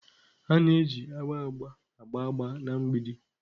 A na-eji agba agba agba agba na mgbidi.